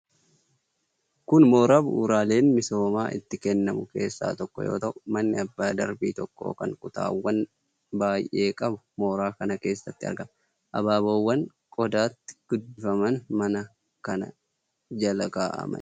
Kun mooraa bu'uuraaleen misoomaa itti kennamu keessaa tokko yoo ta'u, manni abbaa darbii tokkoo kan kutaawwan baay'ee qabu mooraa kana keessatti argama. Abaaboowwan qodaatti guddifaman mana kana jala kaa'amanii jiru.